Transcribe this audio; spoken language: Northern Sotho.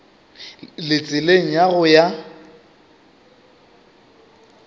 le tseleng ya go ya